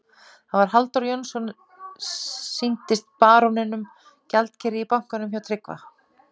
Þetta var Halldór Jónsson, sýndist baróninum, gjaldkeri í bankanum hjá Tryggva.